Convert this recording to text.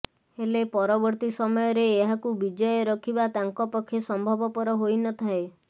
ହେଲେ ପରବର୍ତ୍ତୀ ସମୟରେ ଏହାକୁ ବିଜୟ ରଖିବା ତାଙ୍କ ପକ୍ଷେ ସମ୍ଭବପର ହୋଇ ନଥାଏ